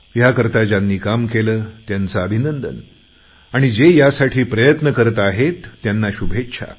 ह्या करता ज्यांनी काम केले त्यांचे अभिनंदन आणि जे यासाठी प्रयत्न करत आहेत त्यांना शुभेच्छा